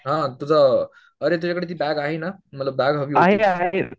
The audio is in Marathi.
हा तुझा अरे तुझ्या कडे ती बॅग आहे ना मला बॅग हवी होती